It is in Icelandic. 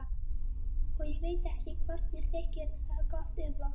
Og ég veit ekki hvort mér þykir það gott eða vont.